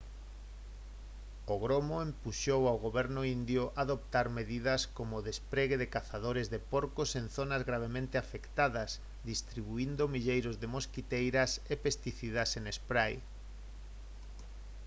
o gromo empuxou ao goberno indio a adoptar medidas como o despregue de cazadores de porcos en zonas gravemente afectadas distribuíndo milleiros de mosquiteiras e pesticidas en spray